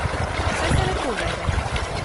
Saj se lepo vede.